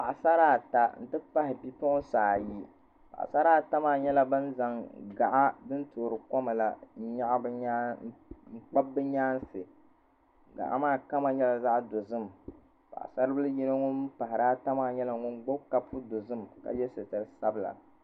Paɣasara ata n ti pahi bipuɣinsi ayi Paɣasara ata maa nyɛla ban zaŋ gaɣa n toori koma n kpabi bɛ nyaansi gaɣa maa kama nyɛla zaɣa dozim paɣasaribila yino ŋun pahari ata maa nyɛla ŋun gbibi kopu dozim ka ye sitiri dabila.